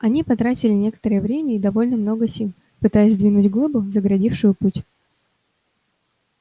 они потратили некоторое время и довольно много сил пытаясь сдвинуть глыбу загородившую путь